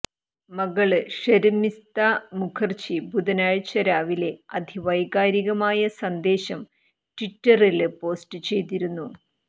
മകള് ഷര്മിസ്ത മുഖര്ജി ബുധനാഴ്ച രാവിലെ അതിവൈകാരിക സന്ദേശം ട്വിറ്ററില് പോസ്റ്റ് ചെയ്തിരുന്നു